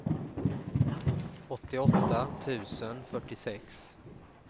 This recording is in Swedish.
åttioåtta tusen fyrtiosex